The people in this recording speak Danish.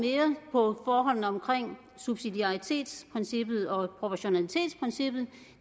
på forholdene omkring subsidiaritetsprincippet og proportionalitetsprincippet